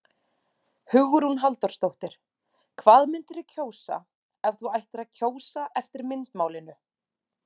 Hugrún Halldórsdóttir: Hvað myndirðu kjósa ef þú ættir að kjósa eftir myndmálinu?